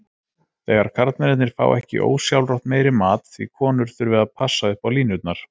Þegar karlmennirnir fá ekki ósjálfrátt meiri mat því konur þurfi að passa upp á línurnar.